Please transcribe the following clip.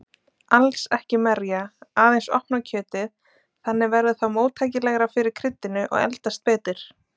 Alls ekki merja, aðeins opna kjötið, þannig verður það móttækilegra fyrir kryddinu og eldast betur.